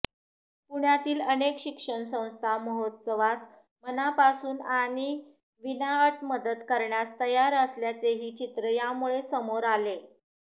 पुण्यातील अनेक शिक्षणसंस्था महोत्सवास मनापासून आणि विनाअट मदत करण्यास तयार असल्याचेही चित्र यामुळे समोर आले